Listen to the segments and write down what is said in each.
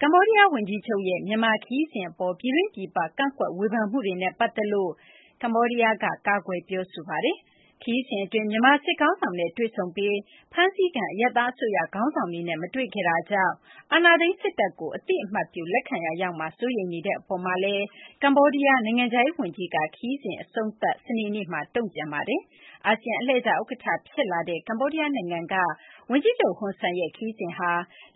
ကမ္ဘောဒီးယားဝန်ကြီးချုပ်ရဲ့ မြန်မာနိုင်ငံ ခရီးစဉ်အပေါ် ပြည်တွင်း ပြည်ပ ကန့်ကွက်ဝေဖန်မှုတွေနဲ့ ပတ်သက်လို့ ကမ္ဘောဒီးယားက ကာကွယ်ပြောဆိုလိုက်ပါတယ်။ ခရီးစဉ်အတွင်း မြန်မာစစ်ခေါင်းဆောင်နဲ့ တွေ့ဆုံခဲ့ပြီး ဖမ်းဆီးခံ အရပ်သားအစိုးရ ခေါင်းဆောင်တွေနဲ့ မတွေ့ခဲ့တာကြောင့် အာဏာသိမ်းစစ်တပ်ကို အသိအမှတ်ပြု လက်ခံရာရောက်မှာ စိုးရိမ်နေတဲ့ အပေါ်မှာလည်း ကမ္ဘောဒီးယား နိုင်ငံခြားရေးဝန်ကြီးက ခရီးစဉ်အဆုံးသတ် စနေနေ့က တုံ့ပြန်ခဲ့တာပါ။ အာဆီယံ အလှည့်ကျဥက္ကဋ္ဌ ဖြစ်လာတဲ့ ကမ္ဘောဒီးယားနိုင်ငံက ဝန်ကြီးချုပ် ဟွန်ဆန်ရဲ့ ခရီးစဉ်ဟာ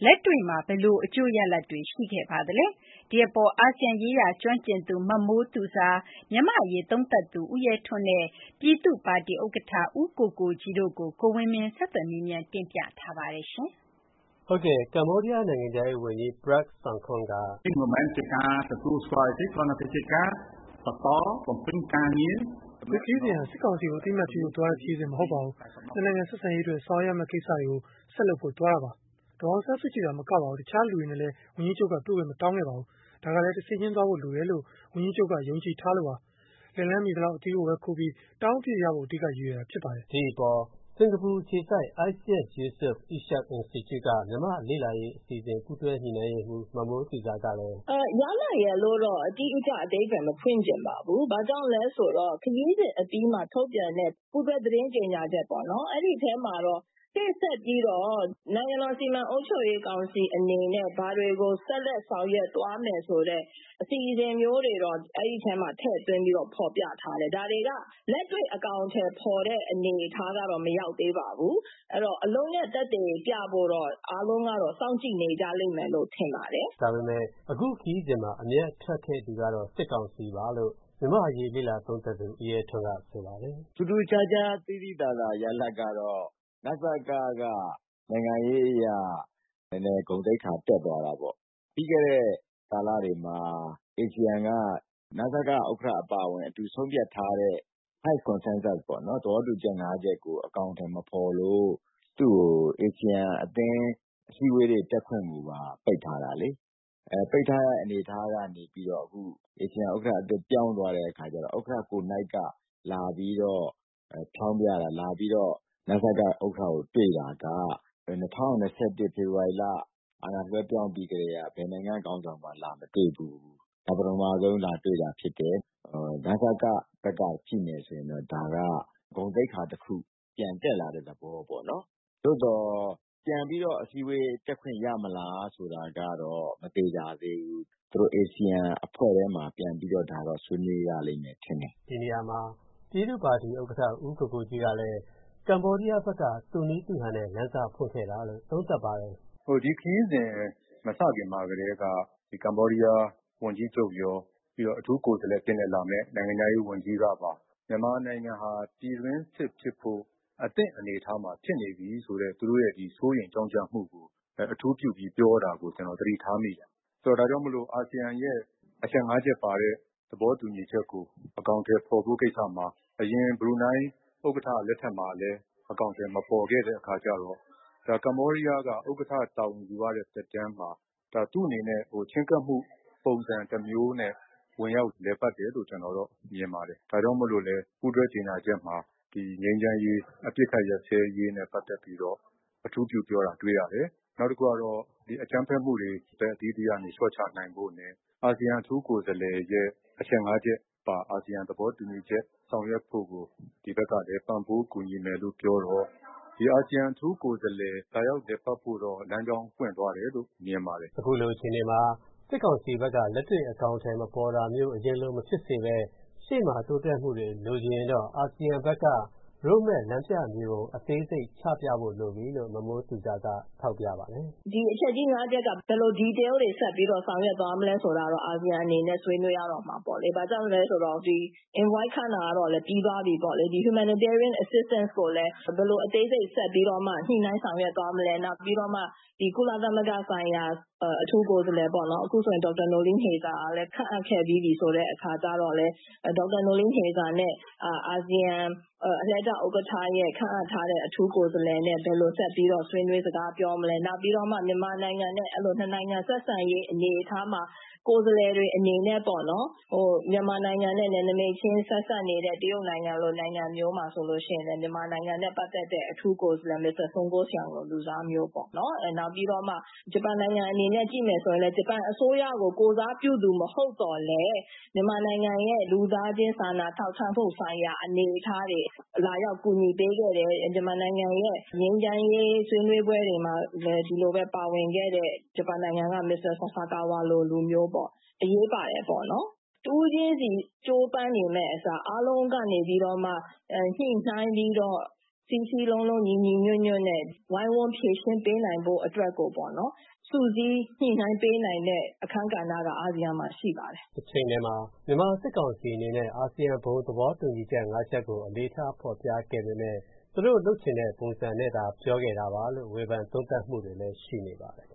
လက်တွေ့မှာ ဘယ်လိုအကျိုးရလဒ်တွေ ရှိခဲ့ပါသလဲ၊ ဒီအပေါ် အာဆီယံအရေးကျွမ်းကျင်သူ မမိုးသူဇာ၊ မြန်မာ့အရေးသုံးသပ်သူ ဦးရဲထွန်းနဲ့ ပြည်သူ့ပါတီဥက္ကဋ္ဌ ဦးကိုကိုကြီးတို့ကို ကိုဝင်းမင်းက ဆက်သွယ်မေးမြန်း တင်ပြထားပါတယ်။ ကမ္ဘောဒီးယား နိုင်ငံခြားရေးဝန်ကြီး Prak Sokhonn က “အခုခရီးစဉ်ဟာ စစ်ကောင်စီကို အသိအမှတ်ပြုဖို့သွားတဲ့ ခရီးစဉ် မဟုတ်ပါဘူး။ ၂ နိုင်ငံ ဆက်ဆံရေးအတွက် ဆောင်ရွက်ရမယ့် ကိစ္စတွေကို ဆက်လုပ်ဖို့သွားတာပါ။ ဒေါ်အောင်ဆန်းစုကြည်သာ မကပါဘူး၊ တခြားလူတွေနဲ့လည်း ဝန်ကြီးချုပ်က တွေ့ခွင့်မတောင်းခဲ့ပါဘူး။ ဒါကလည်း တဆင့်ချင်းသွားဖို့ လိုတယ်လို့ ဝန်ကြီးချုပ်က ယုံကြည်ထားလို့ပါ။ လက်လှမ်းမီသလောက် အသီးကိုပဲခူးပြီး တောင်းအပြည့်ရဖို့ အဓိက ရည်ရွယ်တာ ဖြစ်ပါတယ်။” လို့ ပြောပါတယ်။ ဒီအပေါ် စင်ကာပူအခြေစိုက် ISEAS-Yusof Ishak Institute က မြန်မာ့လေ့လာရေး အစီအစဉ် ပူးတွဲညှိနှိုင်းရေးမှူး မမိုးသူဇာကလည်း အခုလိုပြောပါတယ်။ “ရလဒ်ရယ်လို့တော့ အတိအကျ အဓိပ္ပာယ် မဖွင့်ချင်ပါဘူး။ ဘာကြောင့်လဲဆိုတော့ ခရီးစဉ်အပြီးမှာ ထုတ်ပြန်တဲ့ ပူးတွဲ သတင်းကြေညာချက်ထဲမှာ ရှေ့ဆက်ပြီးတော့ နိုင်ငံတော်စီမံအုပ်ချုပ်ရေးကောင်စီ အနေနဲ့ ဘာတွေကို ဆက်လက်ဆောင်ရွက်သွားမယ် ဆိုတဲ့ အစီအစဉ်မျိုးတွေတော့ အဲဒီထဲမှာ ထည့်သွင်း ဖော်ပြထားတယ်။ ဒါတွေက လက်တွေ့ အကောင်အထည်ဖော်တဲ့ အနေအထားကတော့ မရောက်သေးပါဘူး။ အဲဒီတော့ အလုပ်နဲ့ သက်သေပြဖို့ောတ့ အားလုံးကတော့ စောင့်ကြည့်နေကြလိမ့်မယ်လို့ ထင်ပါတယ်။” ဒါပမေယ့် အခုခရီးစဉ်မှာ အမြတ်ထွက်ခဲ့သူကတော့ စစ်ကောင်စီပါလို့ မြန်မာ့အရေး လေ့လာသုံးသပ်သူ ဦးရဲထွန်းက ဆိုပါတယ်။ “ထူးထူးခြားခြား သိသိသာသာ ရလဒ်ကတော့ နစက က နိုင်ငံရေးအရ နည်းနည်း ဂုဏ်သိက္ခာ တက်သွားတာပေါ့။ ပြီးခဲ့တဲ့ ကာလတွေမှာ အာဆီယံက နစကဥက္ကဋ္ဌ အပါအဝင် အတူဆုံးဖြတ်ထားတဲ့ သဘောတူချက် ၅ ချက်ကို အကောင်အထည် မဖော်လို့ သူ့ကို အာဆီယံအသင်း အစည်းအဝေးတွေ တက်ခွင့်ကိုပါ ပိတ်ထားတာလေ။ ပိတ်ထားတဲ့ အနေအထားကနေပြီးတော့ အခု အာဆီယံဥက္ကဋ္ဌအသစ် ပြောင်းသွားတဲ့ အခါကြတော့ ဥက္ကဋ္ဌကိုယ်နှိုက်က လာပြီးတော့ ဖျောင်းဖျတာ၊ လာပြီးတော့ နစက ဥက္ကဋ္ဌကို တွေ့တာက ၂၀၂၁ ဖေဖော်ဝါရီလ အာဏာလွှဲပြောင်းပြီးကတည်းက ဘယ် နိုင်ငံ့ခေါင်းဆောင်မှ လာမတွေ့ဖူးဘူး။ ဒါ ပထမဆုံး လာတွေ့တာဖြစ်တယ်။ နစကဘက်က ကြည့်မယ်ဆိုရင်တော့ ဒါက ဂုဏ်သိက္ခာတခု ပြန်တက်လာတဲ့ သဘောပေါ့။ သို့သော် ပြန်ပြီးတော့ အစည်းအဝေး တက်ခွင့်ရမလား ဆိုတာကတော့ မသေချာသေးဘူး။ အာဆီယံအဖွဲ့ထဲမှာ ပြန်ပြီးတော့ ဆွေးနွေးရလိမ့်မယ် ထင်တယ်။” ဒီနေရာမှာ ပြည်သူ့ပါတီဥက္ကဋ္ဌ ဦးကိုကိုကြီးကလည်း ကမ္ဘောဒီးယားဘက်က သူ့နည်းသူ့ဟန်နဲ့ လမ်းစဖွင့်ခဲ့တာလို့ သုံးသပ်ပါတယ်။ “ဒီခရီးစဉ် မစခင်မှာကတည်းက ကမ္ဘောဒီးယား ဝန်ကြီးချုပ်ရော၊ ပြီးတော့ အထူးကိုယ်စားလှယ်အဖြစ်နဲ့ လာမယ့် နိုင်ငံခြားရေးဝန်ကြီးကပါ မြန်မာနိုင်ငံဟာ ပြည်တွင်းစစ်ဖြစ်ဖို့ အသင့်အနေအထားမှာ ဖြစ်နေပြီဆိုတဲ့ သူတို့ရဲ့ စိုးရိမ်ကြောင့်ကြမှုကို အထူးပြုပြီး ပြောတာကို ကျနော် သတိထားမိတယ်။ ဒါကြောင့်မို့ အာဆီယံရဲ့ အချက် ၅ ချက်ပါတဲ့ သဘောတူညီချက်ကို အကောင်အထည်ဖော်ဖို့ ကိစ္စမှာ အရင် ဘရူနိုင်း ဥက္ကဋ္ဌ လက်ထက်မှာလည်း အကောင်အထည် မပေါ်ခဲ့တဲ့ အခါကြတော့ ကမ္ဘောဒီးယားက ဥက္ကဋ္ဌတာဝန်ယူရတဲ့ သက်တမ်းမှာ သူ့အနေနဲ့ ချဉ်းကပ်မှု ပုံစံတမျိုးနဲ့ ဝင်ရောက်လည်ပတ်တယ်လို့ ကျနော်တော့ မြင်ပါတယ်။ ဒါကြောင့်မို့လည်း ပူးတွဲကြေညာချက်မှာ ငြိမ်းချမ်းရေး၊ အပစ်အခတ် ရပ်စဲရေးနဲ့ ပတ်သက်ပြီးတော့ အထူးပြုပြောတာ တွေ့ရတယ်။ နောက်တခုကတော့ အကြမ်းဖက်မှုတွေ ဘက်အသီးသီးက လျှော့ချနိုင်ဖို့နဲ့ အာဆီယံ အထူးကိုယ်စားလှယ်ရဲ့ အချက် ၅ ချက်ပါ အာဆီယံ သဘောတူညီချက် ဆောင်ရွက်ဖို့ကို ဒီဘက်ကလည်း ပံ့ပိုးကူညီမယ်လို့ ပြောတော့ ဒီ အာဆီယံ အထူးကိုယ်စားလှယ် လာရောက်လည်ပတ်ဖို့တော့ လမ်းကြောင်း ပွင့်သွားတယ်လို့ မြင်ပါတယ်။” အခုလို အခြေအနေမှာ စစ်ကောင်စီဘက်က လက်တွေ့အကောင်အထည် မဖော်တာမျိုး အရင်လို မဖြစ်စေဘဲ ရှေ့မှာ တိုးတက်မှုတွေ လိုချင်ရင်တော့ အာဆီယံဘက်က Road Map လမ်းပြမြေပုံ အသေးစိတ် ချပြဖို့ လိုပြီလို့ မမိုးသူဇာက ထောက်ပြပါတယ်။ “ဒီ အချက်ကြီး ၅ ချက်က ဘယ်လို Detail တွေ ဆက်ပြီး ဆောင်ရွက်သွားမလဲ ဆိုတာတော့ အာဆီယံအနေနဲ့ ဆွေးနွေးရတော့မှာပေါ့လေ။ ဘာကြောင့်လဲဆိုတော့ ဒီ Envoy ခန့်တာတော့လည်း ပြီးသွားပြီပေ့ါလေ။ Humanitarian Assistance ကိုလည်း ဘယ်လို အသေးစိတ် ဆက်ပြီး ညှိနှိုင်းဆောင်ရွက်သွားမလဲ၊ ပြီးတော့မှ ကုလသမဂ္ဂဆိုင်ရာ အထူးကိုယ်စားလှယ်ပေါ့၊ အခုဆိုရင် ဒေါက်တာ Noeleen Heyzer ကလည်း ခန့်အပ်ခဲ့ပြီးပြီ ဆိုတဲ့အခါကြတော့ ဒေါက်တာ Noeleen Heyzer နဲ့ အာဆီယံ အလှည့်ကျဥက္ကဋ္ဌ ခန့်အပ်ထားတဲ့ အထူးကိုယ်စားလှယ်နဲ့ ဘယ်လိုဆက်ပြီး ဆွေးနွေး စကားပြောမလဲ၊ နောက်ပြီးတော့ မြန်မာနိုင်ငံနဲ့ နှစ်နိုင်ငံ ဆက်ဆံရေး အနေအထားမှာ ကိုယ်စားလှယ်တွေ အနေနဲ့ မြန်မာနိုင်ငံနဲ့ နယ်နိမိတ်ချင်း ဆက်စပ်နေတဲ့ တရုတ်နိုင်ငံလို နိုင်ငံမျိုးမှာဆိုရင်လည်း မြန်မာနိုင်ငံနဲ့ ပတ်သက်တဲ့ အထူးကိုယ်စားလှယ် မစ္စတာဆွန်ကော့ရှန်လို့ လူစားမျိုးပေါ့၊ ပြီးတော့ ဂျပန်နိုင်ငံအနေနဲ့ ကြည့်မယ်ဆိုရင်လည်း ဂျပန်အစိုးရကို ကိုယ်စားပြုသူ မဟုတ်သော်လည်း မြန်မာနိုင်ငံရဲ့ လူသားချင်း စာနာထောက်ထားမှုဆိုင်ရာ အနေအထားတွေ လာရောက် ကူညီပေးခဲ့တဲ့ မြန်မာနိုင်ငံရဲ့ ငြိမ်းချမ်းရေး ဆွေးနွေးပွဲတွေမှာလည်း ဒီလိုပဲ ပါဝင်ခဲ့တဲ့ ဂျပန်နိုင်ငံက မစ္စတာ ဆာဆာကာဝါလို လူမျိုးပေါ့၊ အရေးပါတယ်ပေါ့။ တဦးချင်းစီ ကြိုးပမ်းနေမယ့်အစား အားလုံးကနေ ညှိနှိုင်းပြီးတော့ စည်းစည်းလုံးလုံး ညီညီညွတ်ညွတ်နဲ့ ဝိုင်းဝန်းဖြေရှင်းပေးနိုင်ဖို့ အတွက်ကို စုစည်း ညှိှနှိုင်းပေးနိုင်မယ့် အခန်းကဏ္ဍက အာဆီယံမှာ ရှိပါတယ်။” တချိန်တည်းမှာ မြန်မာစစ်ကောင်စီ အနေနဲ့ အာဆီယံ ဘုံသဘောတူညီချက် ၅ ချက်ကို အလေးထား ဖော်ပြခဲ့ပေမယ့် သူတို့လုပ်ချင်တဲ့ ပုံစံနဲ့သာ ပြောခဲ့တာပါလို့ ဝေဖန်သုံးသပ်မှုတွေလည်း ရှိနေပါတယ်။